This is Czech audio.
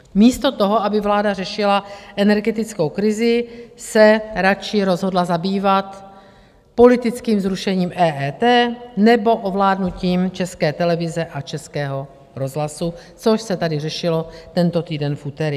Místo toho, aby vláda řešila energetickou krizi, se radši rozhodla zabývat politickým zrušením EET nebo ovládnutím České televize a Českého rozhlasu, což se tady řešilo tento týden v úterý.